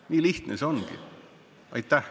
Nii lihtne see ongi.